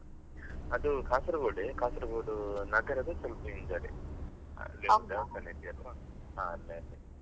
ಅದು Kasaragod ಎ Kasaragod ನಗರದ ಸ್ವಲ್ಪ ಹಿಂದ್ಗಡೆ ಹಾ ಅದೇ ಅದೇ.